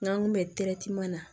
N'an kun bɛ na